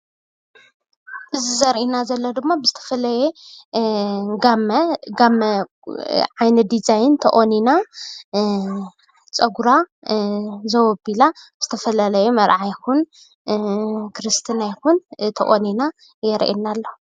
እዚ ዘሪአና ዘሎ ድማ ብዝተፈለየ ጋመ ዓይነት ዲዛይን ተቖኒና ፀጉራ ዘዉ ኣቢላ ብዝተፈላለየ መርዓ ይኹን ክርስትና ይኹን ተቆኒና የርእየና ኣሎ